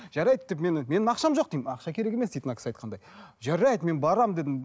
жарайды деп мені менің ақшам жоқ деймін ақша керек емес дейді мына кісі айтқандай жарайды мен барамын дедім